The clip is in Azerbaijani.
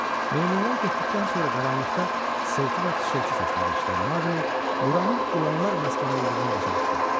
Meymunlar getdikdən sonra qaranlıqda xışıltı və fışıltı səsləri eşidən Maquli buranın ilanlar məskəni olduğunu başa düşdü.